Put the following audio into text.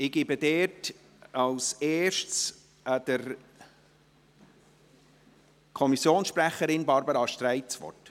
Ich gebe als Erstes der Kommissionssprecherin Barbara Streit das Wort.